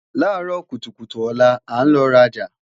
laaro kutukutu ola, a n lọ raja